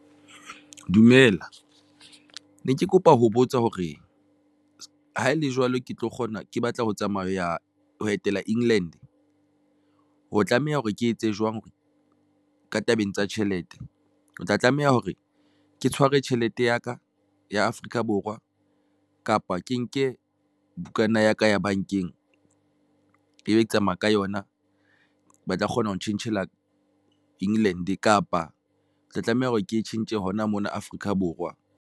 Dumela ne ke kopa ho botsa hore ha ele jwalo, ke tlo kgona ke batla ho tsamaya ho ya etela England ho tlameha hore ke etse jwang hore ka tabeng ng tsa tjhelete o tla tlameha hore ke tshwarwe tjhelete ya ka ya Afrika Borwa kapa ke nke bukana ya ka ya bankeng e be ke tsamaya ka yona ba tla kgona ho tjhentjhela England, kapa ke tla tlameha hore ke tjhentjhe hona mona Afrika Borwa?